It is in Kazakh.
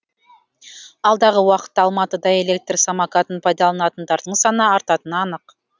алдағы уақытта алматыда электр самокатын пайдаланатындардың саны артатыны анық